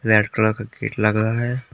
Red colour का gate लग रहा है।